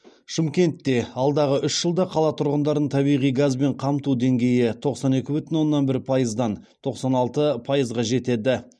шымкентте алдағы үш жылда қала тұрғындарын табиғи газбен қамту деңгейі тоқсан екі бүтін оннан бір пайыздан тоқсан алты пайызға жетеді